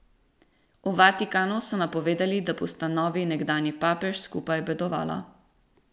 V Vatikanu so napovedali, da bosta novi in nekdanji papež skupaj obedovala.